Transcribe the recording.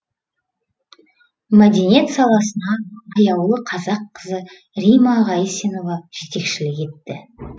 мәдениет саласына аяулы қазақ қызы римма ғайсенова жетекшілік етті